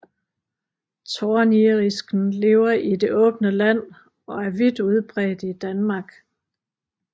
Tornirisken lever i det åbne land og er vidt udbredt i Danmark